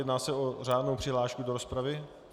Jedná se o řádnou přihlášku do rozpravy?